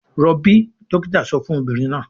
"Rọbí!" dọ́kítá sọ fún obìnrin náà.